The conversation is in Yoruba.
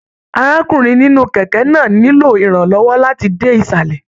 Arákùnrin nínú kẹkẹ náà nilo iranlọwọ láti dé isalẹ.